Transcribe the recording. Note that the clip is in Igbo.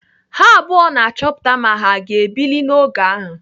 Ha abụọ na-achọpụta ma ha aga ebili n'oge ahụ.